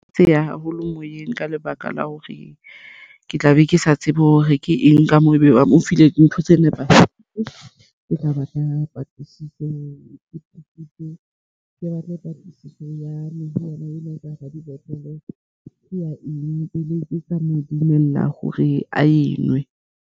Tse yang haholo moyeng ka lebaka la hore ke tla be ke sa tsebe hore ke eng ka moo ebe ba mo file ntho tse nepahetseng. Ke tla batla patlisiso ke batle patlisiso yane ena ene ka hara dibotlolo. Ke ya eng tseleng tse tla mo dumella hore a enwe.